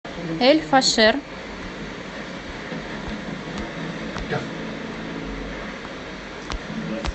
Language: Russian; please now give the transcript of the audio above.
эль фашер